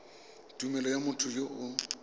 tumelelo ya motho yo o